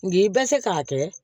N bɛ se k'a kɛ